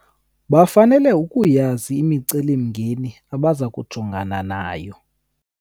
Bafanele ukuyazi imiceli-mingeni abaza kujongana nayo.